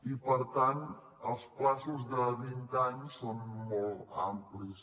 i per tant els terminis de vint anys són molt amplis